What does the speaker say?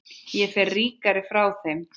Ég fer ríkari frá þeim.